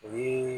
O ye